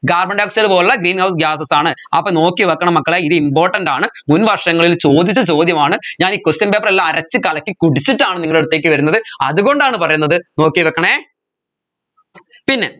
carbon dioxide main പോലുള്ള greenhouse gases ആണ് അപ്പോ നോക്കി വെക്കണം മക്കളെ ഇത് important ആണ് മുൻ വർഷങ്ങളിൽ ചോദിച്ച ചോദ്യമാണ് ഞാൻ ഈ question paper എല്ലാം അരച്ച് കലക്കി കുടിച്ചിട്ടാണ് നിങ്ങളടുത്തേക്ക് വരുന്നത് അതുകൊണ്ടാണ് പറയുന്നത് നോക്കി വെക്കണെ പിന്നെ